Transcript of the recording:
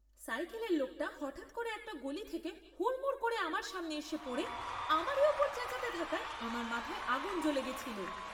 সাইকেলের লোকটা হঠাৎ করে একটা গলি থেকে হুড়মুড় করে আমার সামনে এসে পড়ে আমারই ওপর চেঁচাতে থাকায় আমার মাথায় আগুন জ্বলে গেছিল।